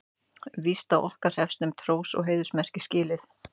Víst á okkar hreppsnefnd hrós og heiðursmerki skilið.